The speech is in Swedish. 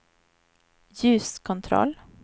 ljuskontroll